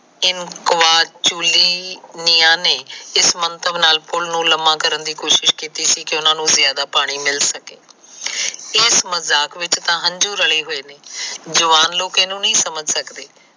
ਇਨੂੰ ਮੰਤਵ ਨਾਲ ਪੂਲ ਨੂੰ ਲੰਮਾ ਕਰਨ ਦੀ ਕੋਸ਼ਿਸ਼ ਕੀਤੀ ਸੀ ਕਿ ਉਹਨਾ ਨੂੰ ਜਿਆਦਾ ਪਾਣੀ ਮਿਲ ਸਕੇ ਇਸ ਮਜਾਕ ਵਿੱਚ ਤਾ ਹੰਝੂ ਰਹੇ ਹੋਏ ਨੇ ਜਵਾਨ ਲੋਕ ਇਹਨੂੰ ਨਹੀ ਸਮਝ ਸਕਦੇ